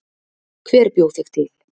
hver bjó þig til